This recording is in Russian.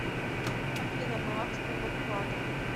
афина баланс моего вклада